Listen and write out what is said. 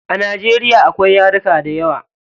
A najeriya akwai yaruka dayawa.